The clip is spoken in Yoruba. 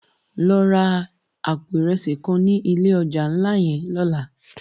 Lò rá àpó irèsi kán ni ilé òjá nlá yèn lòlá